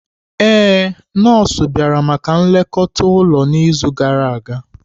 Ee, nọọsụ bịara maka nlekọta ụlọ n'izu gara aga.